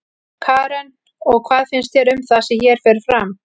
Karen: Og hvað finnst þér um það sem hér fer fram?